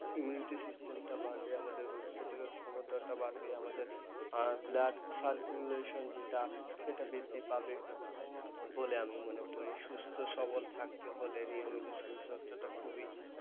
immunity system টা বাড়বে, আমাদের রোগ প্রতিরোধ ক্ষমতাটা বাড়বে, আমাদের blood circulation যেটা সেটা বৃদ্ধি পাবে বলে আমি মনে করি। সুস্থ সবল থাকতে হলে নিয়মিত শরীরচর্চাটা খুবই,